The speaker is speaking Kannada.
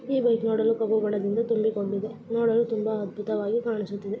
ಈ ಬೈಕ್‌ ನೋಡಲು ಮೋಡಗಳಿಂದ ತುಂಬಿಕೊಂಡಿದೆ ಇದು ನೋಡಲು ತುಂಬಾ ಅದ್ಬುತವಾಗಿ ಕಾಣಿಸುತ್ತಿದೆ.